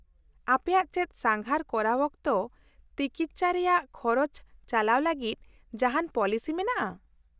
-ᱟᱯᱮᱭᱟᱜ ᱪᱮᱫ ᱥᱟᱸᱜᱷᱟᱨ ᱠᱚᱨᱟᱣ ᱚᱠᱛᱚ ᱛᱤᱠᱤᱪᱪᱷᱟ ᱨᱮᱭᱟᱜ ᱠᱷᱚᱨᱚᱪ ᱪᱟᱞᱟᱣ ᱞᱟᱜᱤᱫ ᱡᱟᱦᱟᱱ ᱯᱚᱞᱤᱥᱤ ᱢᱮᱱᱟᱜᱼᱟ ?